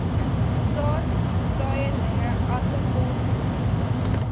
saad saailinge aartappelmoere